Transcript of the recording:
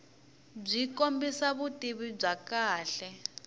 byi kombisa vutivi bya kahle